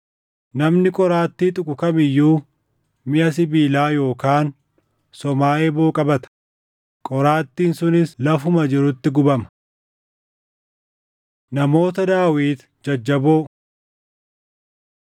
Namni qoraattii tuqu kam iyyuu miʼa sibiilaa yookaan somaa eeboo qabata; qoraattiin sunis lafuma jirutti gubama.” Namoota Daawit Jajjaboo 23:8‑39 kwf – 1Sn 11:10‑41